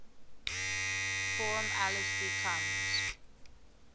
form lsd comes